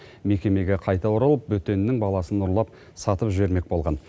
мекемеге қайта оралып бөтеннің баласын ұрлап сатып жібермек болған